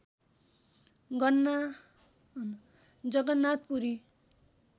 Jagannath Puri